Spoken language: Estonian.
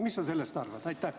Mis sa sellest arvad?